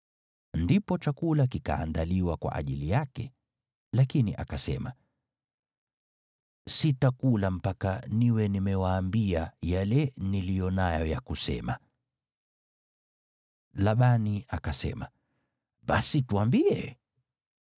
Ndipo chakula kikaandaliwa kwa ajili yake, lakini akasema, “Sitakula mpaka niwe nimewaambia yale niliyo nayo ya kusema.” Labani akasema, “Basi tuambie.”